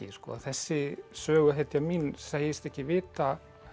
þessi söguhetja mín segist ekki vita